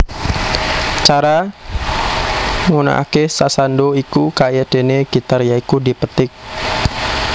Cara ngunekake sasando iku kayadene gitar ya iku dipetik